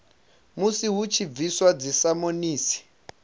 musi hu tshi bviswa dzisamonisi